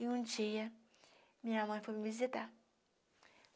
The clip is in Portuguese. E um dia, minha mãe foi me visitar.